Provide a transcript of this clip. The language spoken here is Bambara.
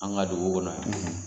An ka dugu kɔnɔ yan